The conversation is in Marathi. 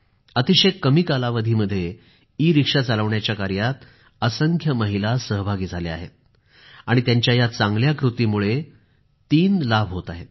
अतिशय कमी कालावधीमध्ये ईरिक्षा चालवण्याच्या कार्यामध्ये असंख्य महिला सहभागी झाल्या आहेत आणि त्यांच्या या चांगल्या कृतीमुळे तीन लाभ होत आहेत